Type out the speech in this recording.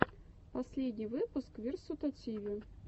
последний выпуск версутативи